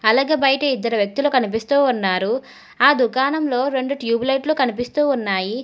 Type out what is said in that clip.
అలాగే బయట ఇద్దరు వ్యక్తులు కనిపిస్తూ ఉన్నారు ఆ దుకాణంలో రెండు ట్యూబ్ లైట్లు కనిపిస్తూ ఉన్నాయి.